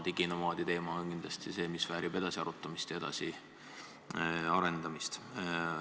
Diginomaadi teema väärib kindlasti edasi arutamist ja edasi arendamist.